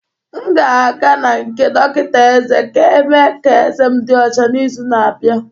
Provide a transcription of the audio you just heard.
M ga-aga na nke dọkịta eze ka emee ka ezé m dị ọcha n'izu na-abịa.